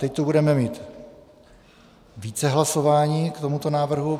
Teď tu budeme mít více hlasování k tomuto návrhu.